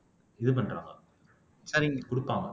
இது பண்றாங்க கொடுப்பாங்க